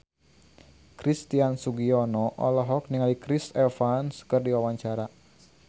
Christian Sugiono olohok ningali Chris Evans keur diwawancara